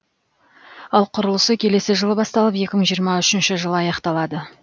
ал құрылысы келесі жылы басталып екі мың жиырма үшінші жылы аяқталады